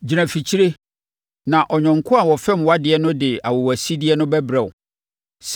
Gyina afikyire na ɔyɔnko a ɔfɛm wʼadeɛ no de awowasideɛ no bɛbrɛ wo.